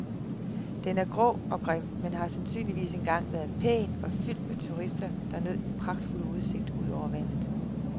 Den er grå og grim men har sandsynligvis engang været pæn og fyldt med turister, der nød den pragtfulde udsigt ud over vandet.